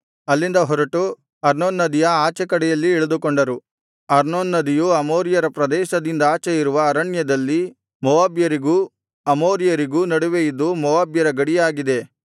ಅಲ್ಲಿಂದ ಹೊರಟು ಅರ್ನೋನ್ ನದಿಯ ಆಚೆ ಕಡೆಯಲ್ಲಿ ಇಳಿದುಕೊಂಡರು ಅರ್ನೋನ್ ನದಿಯು ಅಮೋರಿಯರ ಪ್ರದೇಶದಿಂದಾಚೆ ಇರುವ ಅರಣ್ಯದಲ್ಲಿ ಮೋವಾಬ್ಯರಿಗೂ ಅಮೋರಿಯರಿಗೂ ನಡುವೆ ಇದ್ದು ಮೋವಾಬ್ಯರ ಗಡಿಯಾಗಿದೆ